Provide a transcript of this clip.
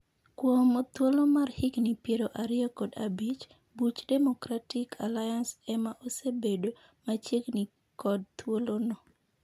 Kuom thuolo mar higni piero ariyo kod abich, duch Democrati Alliance ema osebedo machiegni kod thuolo no.